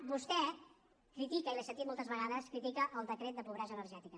vostè critica i l’he sentit moltes vegades el decret de pobresa energètica